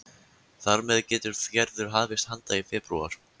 Þar með getur Gerður hafist handa í febrúar